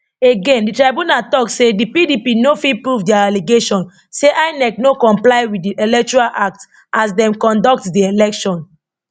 again di tribunal tok say di pdp no fit prove dia allegation say inec no comply wit di electoral act as dem conduct di election